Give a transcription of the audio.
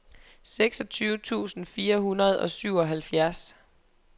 seksogtyve tusind fire hundrede og syvoghalvfjerds